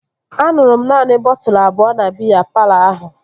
Aṅụrụ m naanị bọtụlu abụọ na biya palọ ahụ